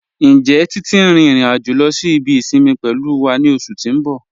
Njẹ́ Titi n rin irin-ajo lọ sí ibi isinmi pẹ̀lú wa ni oṣù ti n bọ̀?